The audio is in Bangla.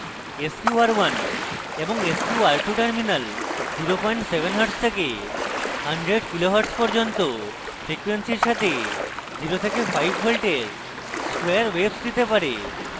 sqr1 এবং sqr2 terminals 07 hertz থেকে 100 kilo hertz পর্যন্ত ফ্রিকোয়েন্সির সাথে 0 থেকে 5v এর square waves দিতে পারে